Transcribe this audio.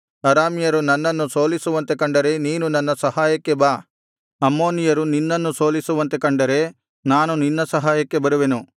ಅರಾಮ್ಯರು ನನ್ನನ್ನು ಸೋಲಿಸುವಂತೆ ಕಂಡರೆ ನೀನು ನನ್ನ ಸಹಾಯಕ್ಕೆ ಬಾ ಅಮ್ಮೋನಿಯರು ನಿನ್ನನ್ನು ಸೋಲಿಸುವಂತೆ ಕಂಡರೆ ನಾನು ನಿನ್ನ ಸಹಾಯಕ್ಕೆ ಬರುವೆನು